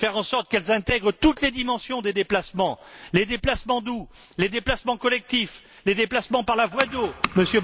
Faire en sorte qu'elles intègrent toutes les dimensions des déplacements les déplacements doux, les déplacements collectifs, les déplacements par la voie d'eau